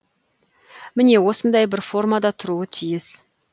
міне осындай бір формада тұруы тиіс